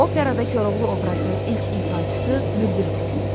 Operada Koroğlu obrazının ilk ifaçısı Bülbül olub.